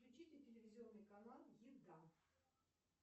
включите телевизионный канал еда